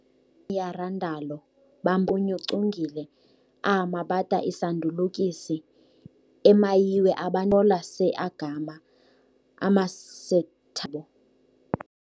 Imyarandalo bamyeCungile ahamabata isandulukisi emayiwe abaThola seEgama amaseTha yabo.